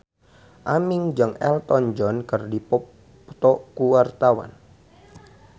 Aming jeung Elton John keur dipoto ku wartawan